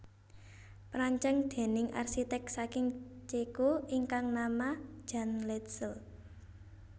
Perancang déning arsiték saking Ceko ingkang nama Jan Letzel